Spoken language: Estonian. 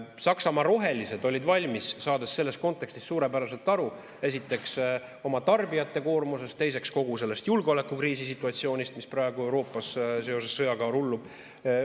Saksamaa rohelised olid valmis, saades selles kontekstis suurepäraselt aru, esiteks, oma tarbijate koormusest, teiseks, kogu sellest julgeolekukriisi situatsioonist, mis praegu Euroopas seoses sõjaga rullub.